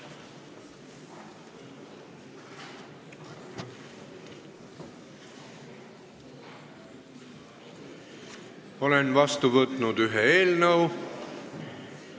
Olen vastu võtnud ühe eelnõu.